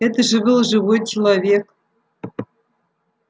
это же был живой человек